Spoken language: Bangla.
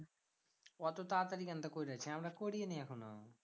ওতো তাড়াতাড়ি কেনটা করলিয়াছি আমরা করিনি এখনও।